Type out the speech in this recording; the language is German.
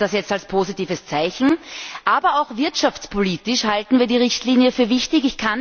Aber ich nehme das jetzt als positives Zeichen. Aber auch wirtschaftspolitisch halten wir die Richtlinie für wichtig.